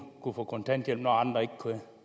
kunne få kontanthjælp når andre